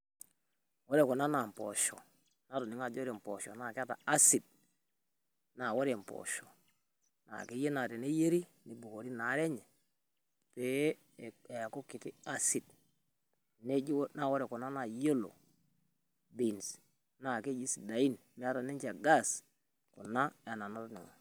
Ore kuna naa mpoosho, natoning`o ajo ore mpoosho naa keeta acid. Naa ore mboosho naa kiyieu naa teneyieri neibukori ina are pee eeku kiti acid. Neji, ore kuna naa yellow beans naa keji sidain meeta ninche ol gas kuna enaa nolduka.